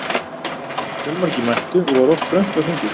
Fjölmargir mættu og var oft þröngt á þingi.